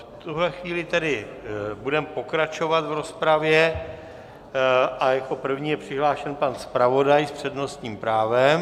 V tuhle chvíli tedy budeme pokračovat v rozpravě a jako první je přihlášen pan zpravodaj s přednostním právem.